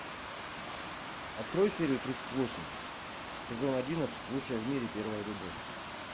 открой серию тридцать восемь сезон одиннадцать лучшая в мире первая любовь